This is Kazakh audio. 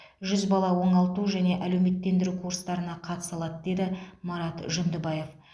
жүз бала оңалту және әлеуметтендіру курстарына қатыса алады деді марат жүндібаев